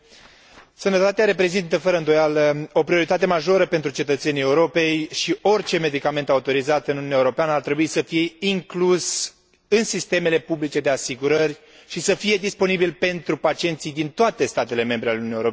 Sănătatea reprezintă, fără îndoială, o prioritate majoră pentru cetățenii Europei și orice medicament autorizat în Uniunea Europeană ar trebui să fie inclus în sistemele publice de asigurări și să fie disponibil pentru pacienții din toate statele membre ale Uniunii Europene.